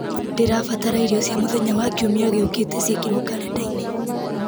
ndĩrabatara irio cia mũthenya wa kiumia gĩũkĩte ciĩkĩrwo karenda-inĩ